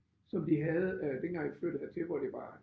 Som de havde øh dengang vi flyttede hertil hvor det var